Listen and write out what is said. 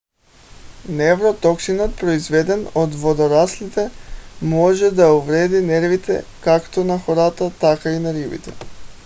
невротоксинът произведен от водораслите може да увреди нервите както на хората така и на рибите